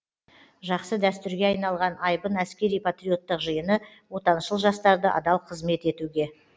жақсы дәтүрге айналған айбын әскери патриоттық жиыны отаншыл жастарды адал қызмет етуге